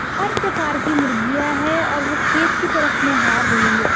हर प्रकार की मुर्गियां है और वो खेत की तरफ निहार रही है।